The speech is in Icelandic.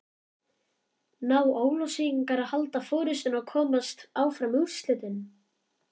Ná Ólafsvíkingar að halda forystunni og komast áfram í undanúrslitin?